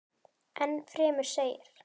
Enn fremur segir.